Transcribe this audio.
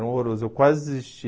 Era horroroso, eu quase desisti.